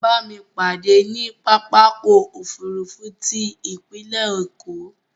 Bámi pàdé ní pápákọ̀ òfurufú ti ipinlẹ̀ Èkó